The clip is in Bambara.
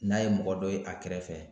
N'a ye mɔgɔ dɔ ye a kɛrɛfɛ